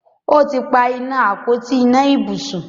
ọtí pá iná Àpótí iná ibùsùn